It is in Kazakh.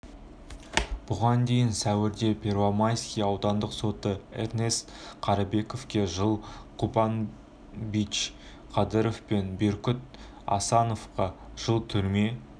бұған дейін сәуірде первомайский аудандық соты эрнест карыбековке жыл кубанычбек кадыров пен бектур асановқа жыл түрме